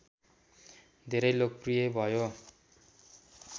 धेरै लोकप्रिय भयो